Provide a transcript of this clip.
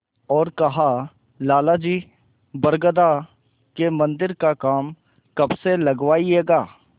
और कहालाला जी बरगदा के मन्दिर का काम कब से लगवाइएगा